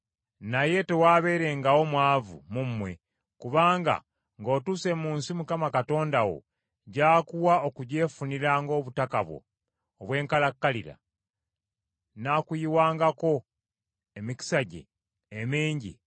Naye tewaabeerengawo mwavu mu mmwe kubanga ng’otuuse mu nsi Mukama Katonda wo gy’akuwa okugyefunira ng’obutaka bwo obw’enkalakkalira n’akuyiwangako emikisa gye emingi,